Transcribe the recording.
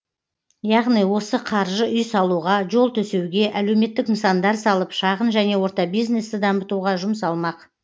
яғни осы қаржы үй салуға жол төсеуге әлеуметтік нысандар салып шағын және орта бизнесті дамытуға жұмсалмақ